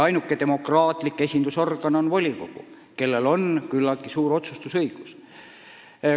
Ainuke demokraatlik esindusorgan on volikogu, kellel on küllaltki suur otsustusõigus.